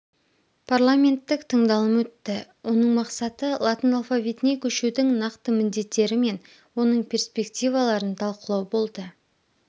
парламенттік тыңдалым өтті оның мақсаты латын алфавитіне көшудің нақты міндеттері мен оның перспективаларын талқылау болды